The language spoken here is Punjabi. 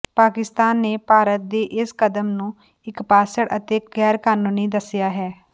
ਪਾਕਿਸਤਾਨ ਨੇ ਭਾਰਤ ਦੇ ਇਸ ਕਦਮ ਨੂੰ ਇਕਪਾਸੜ ਅਤੇ ਗੈਰਕਾਨੂੰਨੀ ਦੱਸਿਆ ਹੈ